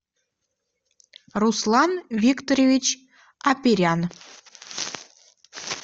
руслан викторович аперян